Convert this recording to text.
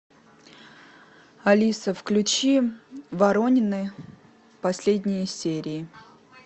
алиса включи воронины последние серии